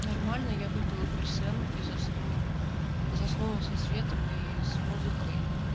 нормально я выпила персен и заснула заснула со светом и с музыкой